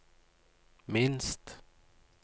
minst